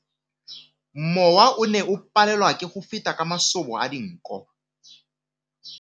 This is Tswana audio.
Mowa o ne o palelwa ke go feta ka masoba a dinko.